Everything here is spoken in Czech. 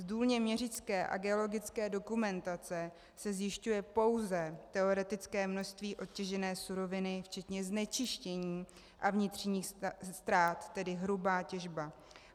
Z důlně měřické a geologické dokumentace se zjišťuje pouze teoretické množství odtěžené suroviny včetně znečištění a vnitřních ztrát, tedy hrubá těžba.